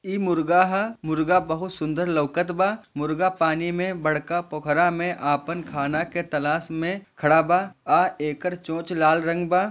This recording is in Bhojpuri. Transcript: ई मुर्गा ह मुर्गा बहुत सुन्दर लवकत बा मुर्गा पानी मे बरका पोख्ररा मे आपन खाना के तलाश मे खड़ा बा आ एकर चोच लाल रंग बा।